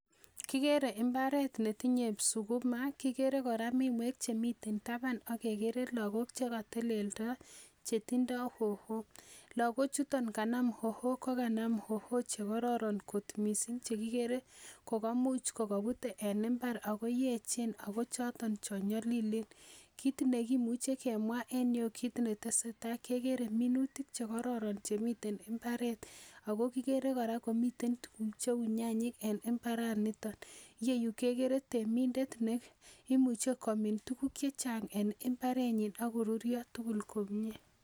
Kiigere mbaret netinye sukuma kigere kora mi miwek chemiten taban ak kegere lagok che kotelelyo chetindo hoho. Lagochuton kanam hoho kokanam hoho che kororon mising chekigere ko kamuch kogobute en mbar ago yeechen ago choton chon nyolilen. kitindoi kimuche kemwa en ireyu kit netesetai kegere minutik che kororon chemiten mbaret ago kigere kora komiten tuguk cheu nyanyik en mbaranito iyeyu kekere temindet neimuch komin tuguk che chang en mbarenyin ak koruryo tugul komie.